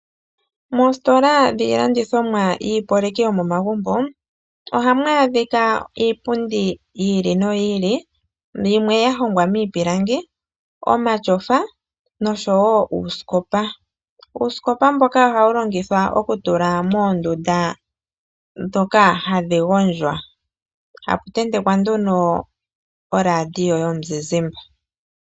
Moositola dhilandithomwa yiiyopaleki yomomagumbo ohamu adhika iipundi yi ili noyi ili yimwe ya hongwamiipilangi, omatyofa nosho wo uusikopa. Uusikopa mboka ohawu longithwa oku tula moondunda dhoka hadhi gondjwa hapu tentekwa nduno oladio yomuzizimbe.